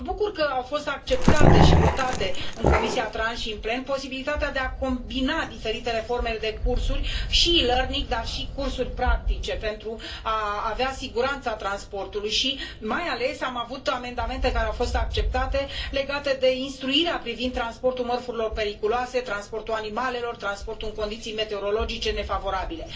Mă bucur că a fost acceptată și votată în comisia TRAN și în plen posibilitatea de a combina diferitele forme de cursuri și e learning, dar și cursuri practice, pentru a avea siguranța transportului și, mai ales, am avut amendamente care au fost acceptate legate de instruirea privind transportul mărfurilor periculoase, transportul animalelor, transportul în condiții meteorologice nefavorabile.